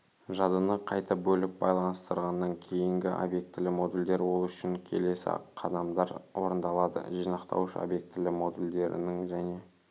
жадыны қайта бөліп байланыстырғаннан кейінгі объектілі модульдер ол үшін келесі қадамдар орындалады жинақтауыш обьектілі модульдерінің және